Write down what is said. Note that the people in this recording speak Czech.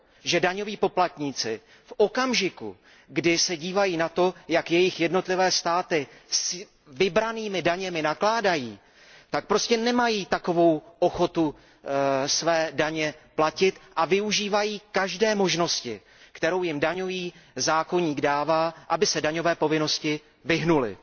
že daňoví poplatníci v okamžiku, kdy se dívají na to, jak jejich jednotlivé státy s vybranými daněmi nakládají, prostě nemají takovou ochotu své daně platit a využívají každé možnosti, kterou jim daňový zákoník dává, aby se daňové povinnosti vyhnuli.